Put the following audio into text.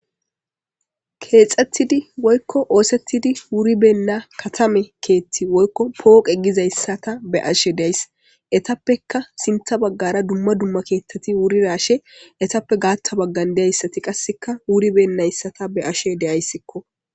Kexxetidi woykko ossetidi wurrona kethi woykko katami oqqey dizzayssa beyashe days etappekka harray dumma dumma bollabagarra wurridayssanne garssa bagarra wuribenaga beyshe days.